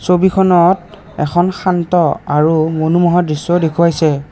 ছবিখনত এখন শান্ত আৰু মনোমোহা দৃশ্যও দেখুওৱাইছে।